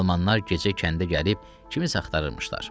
Almanlar gecə kəndə gəlib kimisə axtırırmışlar.